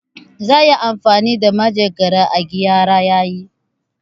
Za'a iya amfani da manjagara a gyara yayi.